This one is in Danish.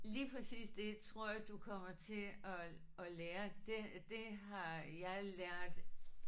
Lige præcis det tror jeg du kommer til at at lære det det har jeg lært